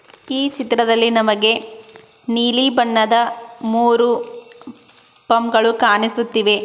ಈ ಚಿತ್ರದಲ್ಲಿ ನಮಗೆ ನೀಲಿ ಬಣ್ಣದ ಮೂರು ಪಂಪ್ ಗಳು ಕಾಣಿಸುತ್ತಿವೆ.